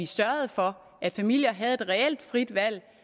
sørgede for at familier havde et reelt frit valg